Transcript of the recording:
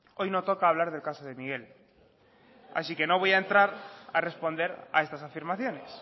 hoy no toca hablar del caso de miguel así que no voy a entrar a responder a estas afirmaciones